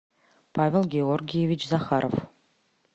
павел георгиевич захаров